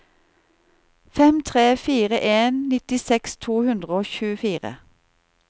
fem tre fire en nittiseks to hundre og tjuefire